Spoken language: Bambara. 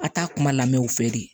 A t'a kuma lamɛ u fɛ de